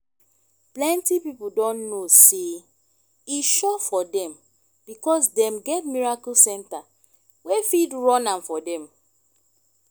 plenty pipo don know sey e sure for them because dem get miracle center wey fit run am for them